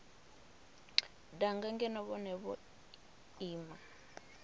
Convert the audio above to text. danga ngeno vhone vho ima